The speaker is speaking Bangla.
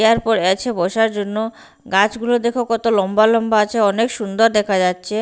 ইয়ার পর আছে বসার জন্য গাছ গুলো দেখো কত লম্বা লম্বা আছে অনেক সুন্দর দেখা যাচ্ছে।